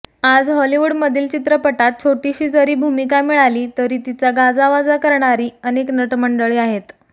आज हॉलिवूडमधील चित्रपटांत छोटीशी जरी भूमिका मिळाली तरी तिचा गाजावाजा करणारी अनेक नटमंडळी आहेत